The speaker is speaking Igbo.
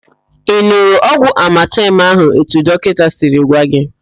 Ị n̄ụrụ ọgwụ amatem ahụ etu dọkịnta siri gwa gị?